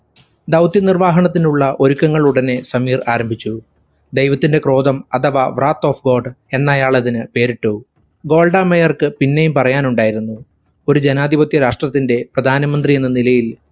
ദൗത്യ നിർവാഹണത്തിനുള്ള ഒരുക്കങ്ങളുടനെ സമീർ ആരംഭിച്ചു. ധൈവത്തിന്റെ ക്രോധം അഥവാ wrath of god എന്നയാളതിന് പേരിട്ടു. ഗോൾഡ മേയർക്ക് പിന്നെയും പറയാനുണ്ടായിരുന്നു. ഒരു ജനാധിപത്യ രാഷ്ട്രത്തിന്റെ പ്രധാനമന്ത്രിയെന്ന നിലയിൽ